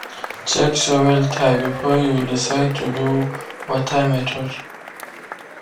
check soil type before you decide to do water method.